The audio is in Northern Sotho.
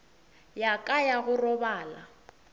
ya ka ya go robala